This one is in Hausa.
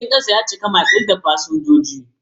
Jirgin kasan dai ya cika makil da fasinjoji.